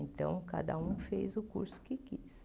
Então, cada um fez o curso que quis.